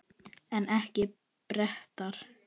En ekki Bretar.